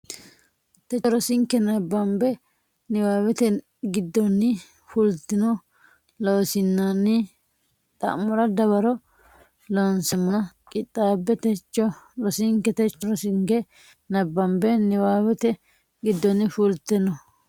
techo rosinke nabbambe niwaawete giddonni fultino Loossinanni xa mora dawaro loonseemmona qixxaabbe techo rosinke techo rosinke nabbambe niwaawete giddonni fultino.